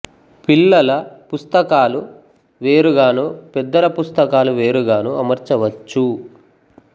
పిల్లల పుస్తకాలు వేరు గానూ పెద్దల పుస్తకాలు వేరుగానూ అమర్చవచ్చు